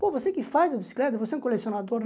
Pô, você que faz a bicicleta, você é um colecionador?